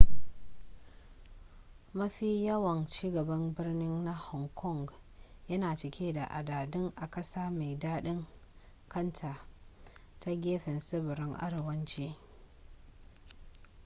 mafi yawan ci gaban birni na hong kong yana cike da adadi a ƙasa mai daɗin kanta ta gefen tsibirin arewacin